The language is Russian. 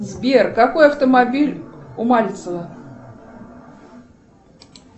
сбер какой автомобиль у мальцева